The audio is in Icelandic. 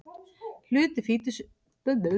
Hluti fitusýranna veður þannig að mettuðum sýrum.